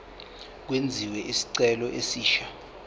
kwenziwe isicelo esisha